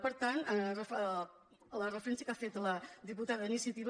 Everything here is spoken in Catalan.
per tant la referència que ha fet la diputada d’iniciativa